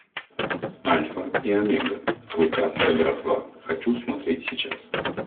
альфа и омега клыкастая братва хочу смотреть сейчас